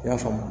I y'a faamu